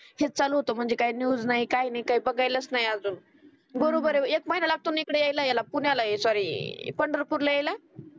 हेच चालू होतं म्हणजे काही न्यूज नाही. काही बघायलाच नाही अजून बरोबर आहे एक महिना लागतो ना इकडे याला पुण्याला सॉरी पंढरपूरला यायला